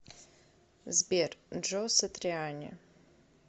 сбер джо сатриани